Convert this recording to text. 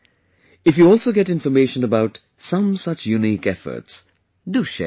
If you also get information about some such unique efforts, do share it